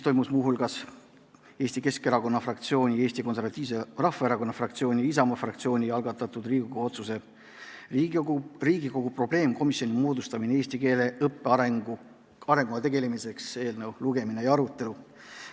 Toimus muu hulgas Eesti Keskerakonna fraktsiooni, Eesti Konservatiivse Rahvaerakonna fraktsiooni ja Isamaa fraktsiooni algatatud Riigikogu otsuse "Riigikogu probleemkomisjoni moodustamine eesti keele õppe arenguga tegelemiseks" eelnõu arutelu.